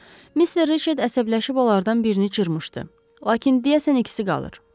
Mister Reçet əsəbləşib onlardan birini cırmışdı, lakin deyəsən ikisi qalır.